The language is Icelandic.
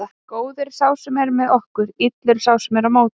Góður er sá sem er með okkur, illur sá sem er á móti.